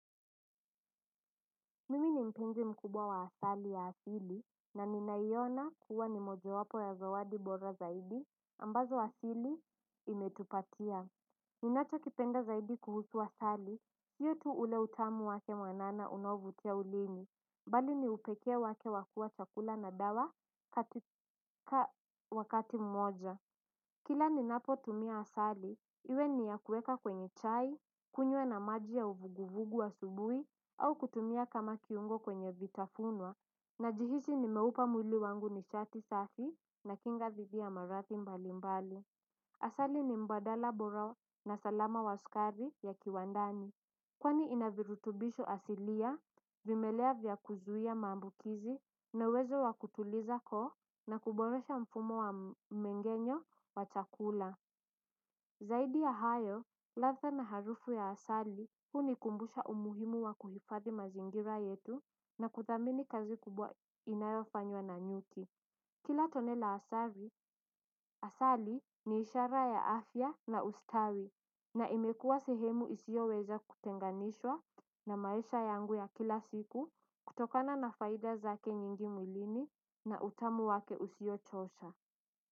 Mimi ni mpenzi mkubwa wa asali ya asili, na ninaiyona kuwa ni moja wapo ya zawadi bora zaidi, ambazo asili imetupatia. Ninacho kipenda zaidi kuhusu asali, siyo tu ule utamu wake mwanana unaovutia ulimi, bali niupekee wake wakua chakula na dawa wakati mmoja. Kila ninapo tumia asali, iwe ni ya kuweka kwenye chai, kunywa na maji ya uvuguvugu asubuhi, au kutumia kama kiungo kwenye vitafunwa, najihisi nimeupa mwili wangu nishati safi na kinga dhidi ya maradhi mbali mbali. Asali ni mbadala bora na salama wa sukari ya kiwandani. Kwani inavirutubisho asilia, vimelea vya kuzuia maambukizi na uwezo wakutuliza koo na kuboresha mfumo wa mmengenyo wa chakula. Zaidi ya hayo, ladha na harufu ya asali, hunikumbusha umuhimu wa kuhifathi mazingira yetu na kudhamini kazi kubwa inayofanywa na nyuki. Kila tone la asali, asali ni ishara ya afya na ustawi na imekua sehemu isioweza kutenganishwa na maisha yangu ya kila siku kutokana na faida zake nyingi mwilini na utamu wake usiochosha.